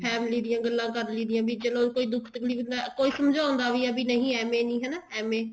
family ਦੀਆਂ ਗੱਲਾਂ ਕਰ ਲਈਦੀਆਂ ਵੀ ਚਲੋ ਕੋਈ ਦੁੱਖ ਤਕਲੀਫ਼ ਕੋਈ ਸਮਝਾਉਂਦਾ ਵੀ ਹੈ ਕੀ ਏਵੇਂ ਨੀ ਹਨਾ ਏਵੇਂ